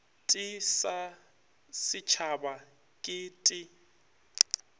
t sa setshaba ke t